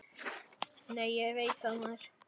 Nei, ég veit það, maður!